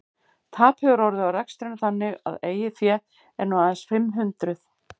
Tap hefur orðið á rekstrinum þannig að eigið fé er nú aðeins fimm hundruð.